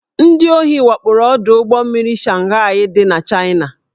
Ndị ohi wakporo ọdụ ụgbọ mmiri Shanghaị dị n'Chaịna